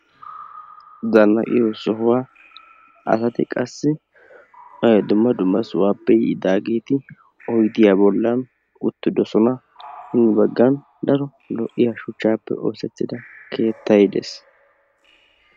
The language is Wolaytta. zannaxiyo sohuwa asati qassi dumma dumma sohuwaappe yiidageeti oyidiya bollan uttidosona. hini baggan daro lo'iya shuchchaappe oosettida keettay des.